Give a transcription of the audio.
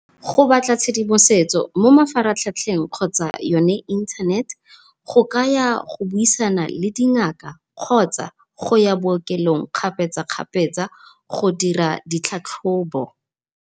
Go batla tshedimosetso mafaratlhatlheng kgotsa yone internet, go ka ya go buisana le dingaka kgotsa go ya bookelong kgapetsakgapetsa go dira ditlhatlhobo.